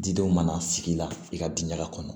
Didenw mana sigi la i ka diɲɛla kɔnɔ